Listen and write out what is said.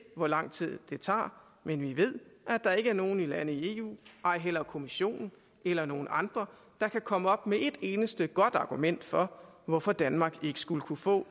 hvor lang tid det tager men vi ved at der ikke er nogen lande i eu ej heller kommissionen eller nogen andre der kan komme op med et eneste godt argument for hvorfor danmark ikke skulle kunne få